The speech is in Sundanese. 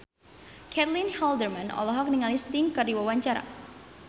Caitlin Halderman olohok ningali Sting keur diwawancara